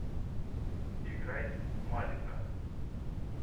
играй малика